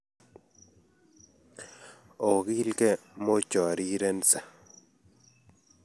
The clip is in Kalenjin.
Ogilikei mochorirense